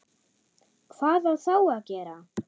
Hvað á þá að gera?